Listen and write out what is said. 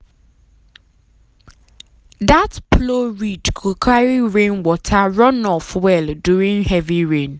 that plow ridge go carry rainwater run-off well during heavy rain.